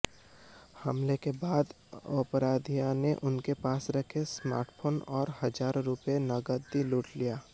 हमले के बाद अपराधियों ने उनके पास रखे स्मार्टफोन और हजारों रुपए नगदी लूट लिया